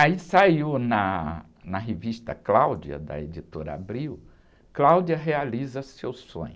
Aí saiu na, na revista Cláudia, da editora Abril, Cláudia realiza seu sonho.